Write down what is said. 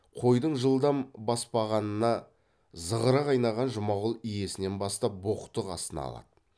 қойдың жылдам баспағанына зығыры қайнаған жұмағұл иесінен бастап боқтық астына алады